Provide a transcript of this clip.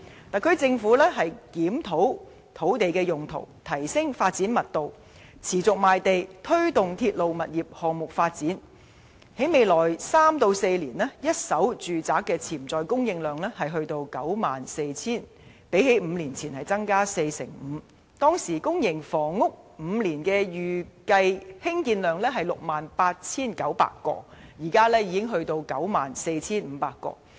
特區政府檢討土地用途、提升發展密度、持續賣地、推動鐵路物業項目發展，在未來三四年，一手住宅的潛在供應量將達 94,000 個，較5年前增加 45%； 當時公營房屋的5年預計興建量只是 68,900 個，現時已增加至 94,500 個。